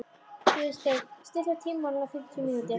Guðsteinn, stilltu tímamælinn á fimmtíu mínútur.